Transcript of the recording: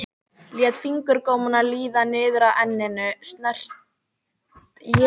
Hann valt ofan af vindsænginni!